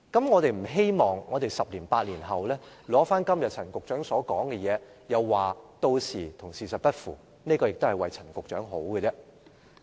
我們不希望在十年八載後，拿出陳局長今天所說的，屆時又說與事實不符，這亦是為陳局長好。